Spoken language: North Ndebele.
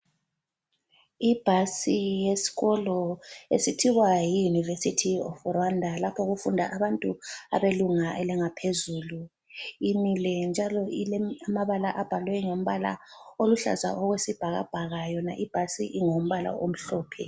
Ibhasi yesikolo esithiwa yi University of Rwanda lapho okufunda abantu belunga elingaphezulu. Imile njalo ilamabala abhalwe ngomabala oluhlaza okwesibhakabhaka yona ibhasi ingumbala omhlophe.